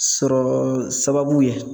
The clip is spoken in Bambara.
Sɔrɔ sababu ye